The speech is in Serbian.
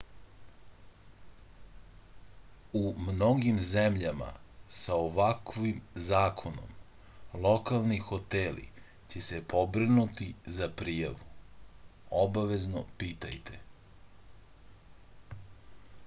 у многим земљама са оваквим законом локални хотели ће се побринути за пријаву обавезно питајте